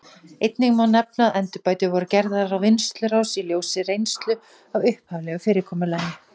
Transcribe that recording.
Einnig má nefna að endurbætur voru gerðar á vinnslurás í ljósi reynslu af upphaflegu fyrirkomulagi.